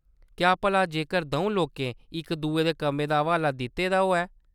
क्या भला जेकर द'ऊं लोकें इक-दुए दे कम्में दा हवाला दित्ते दा होऐ ?